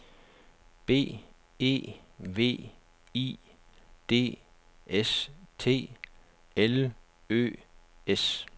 B E V I D S T L Ø S